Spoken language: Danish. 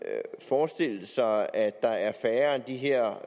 forestille sig at der er færre end de her